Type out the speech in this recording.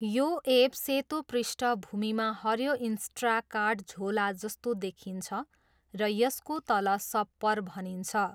यो एप सेतो पृष्ठभूमिमा हरियो इन्स्ट्राकार्ट झोला जस्तो देखिन्छ र यसको तल 'सप्पर' भनिन्छ।